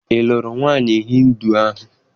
Ị lụrụ nwaanyị Hịndu ahụ?